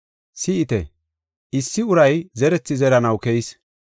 “Si7ite! Issi uray zerethi zeranaw keyis.